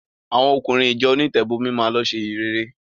Àwọn ọkùnrin ìjọ onítẹ̀bọmi máa lọ ṣe ìhìnrere.